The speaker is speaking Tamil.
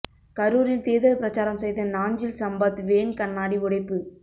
கரூரில் தேர்தல் பிரச்சாரம் செய்த நாஞ்சில் சம்பத் வேன் கண்ணாடி உடைப்பு